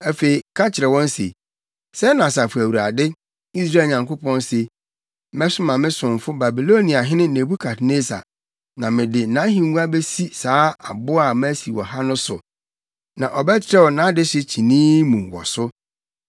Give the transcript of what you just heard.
Afei ka kyerɛ wɔn se, ‘Sɛɛ na Asafo Awurade, Israel Nyankopɔn se: Mɛsoma me somfo Babiloniahene Nebukadnessar, na mede nʼahengua besi saa abo a masi wɔ ha no so; na ɔbɛtrɛw nʼadehye kyinii mu wɔ so.